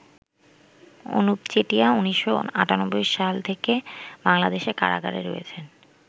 অনুপ চেটিয়া ১৯৯৮সাল থেকে বাংলাদেশের কারাগারে রয়েছেন।